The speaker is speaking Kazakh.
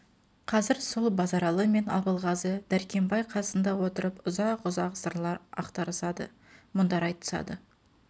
қазір сол базаралы мен абылғазы дәркембай қасында отырып ұзақ-ұзақ сырлар ақтарысады мұндар айтысады